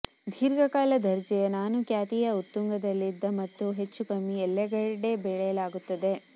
ದೀರ್ಘಕಾಲ ದರ್ಜೆಯ ನಾನು ಖ್ಯಾತಿಯ ಉತ್ತುಂಗದಲ್ಲಿದ್ದ ಮತ್ತು ಹೆಚ್ಚೂಕಮ್ಮಿ ಎಲ್ಲೆಡೆ ಬೆಳೆಯಲಾಗುತ್ತದೆ